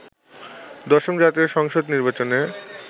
১০ম জাতীয় সংসদ নির্বাচনে